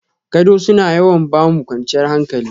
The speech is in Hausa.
Gado suna yawan ba mu kwanciyar hankali.